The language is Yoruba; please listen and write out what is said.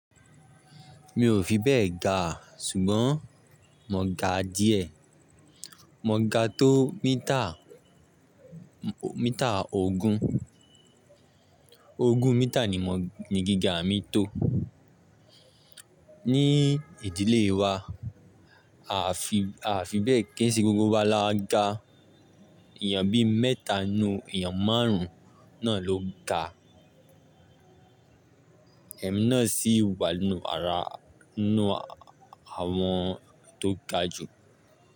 Mi ò fi bẹ́ẹ̀ ga, ṣùgbọ́n mo ga díẹ̀. Mo ga tó mítà, mítà ogún. Ogún mítà ni mo, ni gíga mi tó. Ní ìdílé wa, a fi, a fi bẹ́ẹ̀, kíi ṣe gbogbo wá laa ga. Èèyàn bí mẹ́ta nínú èèyàn márùn-ún náà ló ga. Ẹ̀mí náà sì wà nínú ara, nínú àwọn tó ga jù.